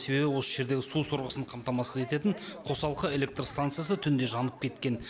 себебі осы жердегі су сорғысын қамтамасыз ететін қосалқы электр станциясы түнде жанып кеткен